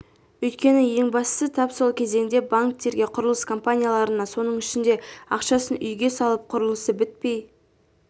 өйткені ең бастысы тап сол кезеңде банктерге құрылыс компанияларына соның ішінде ақшасын үйге салып құрылысы бітпей